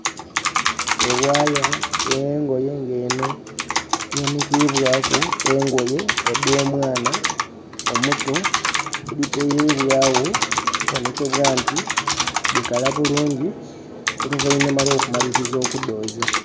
E wire e yengoye ng'enho eyanhikibwaku engoye edh'omwana omuto. Edhitereibwagho okubonhekebwa nti dhikala bulungi oluvainhuma olw'okumaliliza okudhooza.